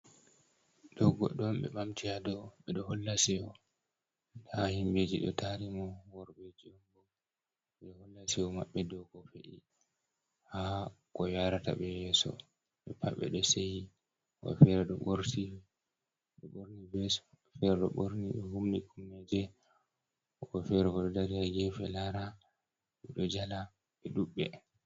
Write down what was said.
Ɗo godɗo'on ɓe ɓamti ha dou. ɓeɗo holla Seyoha himɓeji ɗo tari mo. Worɓeji'onbo ɓeɗo holla Seyo mabɓe dou ko fe’i ko Yarataɓe yeso. Pat ɓe ɗo Seyi wobɓe fere ɗo ɓorti ɗo ɓorni ves, fere ɗo ɓorni humni Komneje .Wobɓe fere ɗo dari ha gefe Lara ɓe ɗo Jala ɓe ɗudɓe.